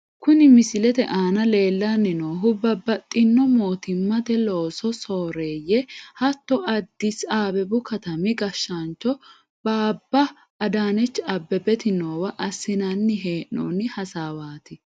Kuni misilete aana leellanni noohu babbaxino mootimmate loosu sooreeyye, hatto addisi abebu katami gashshaancho baabba adanechi abebeti noowa assinanni hee'noonni hasaawaati.